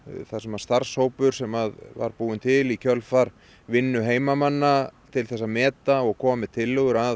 þar sem starfshópur sem var búinn til í kjölfar vinnu heimamanna til þess að meta og koma með tillögur að